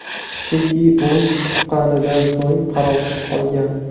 Chunki u tuqqanidan so‘ng qarovsiz qolgan.